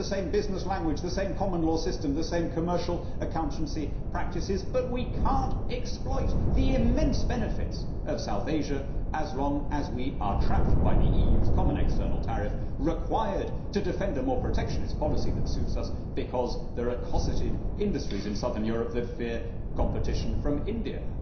We have the same business language, the same common law system, the same commercial accountancy practices, but we cannot exploit the immense benefits of South Asia as long as we are trapped by the EU's common external tariff, required to defend a more protectionist policy than suits us, because there are cossetted industries in southern Europe that fear competition from India.